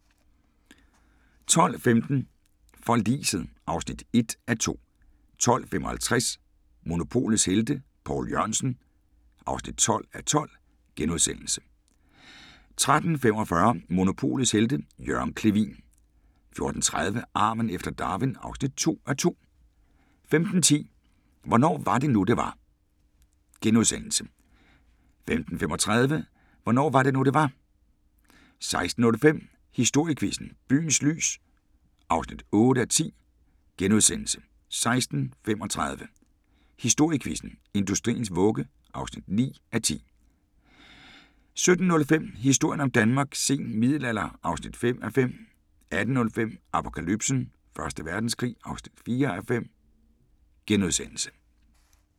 12:15: Forliset (1:2) 12:55: Monopolets Helte – Poul Jørgensen (12:12)* 13:45: Monopolets Helte – Jørgen Clevin 14:30: Arven efter Darwin (2:2) 15:10: Hvornår var det nu, det var? * 15:35: Hvornår var det nu, det var? 16:05: Historiequizzen: Byens lys (8:10)* 16:35: Historiequizzen: Industriens vugge (9:10) 17:05: Historien om Danmark: Sen middelalder (5:5) 18:05: Apokalypsen: Første Verdenskrig (4:5)*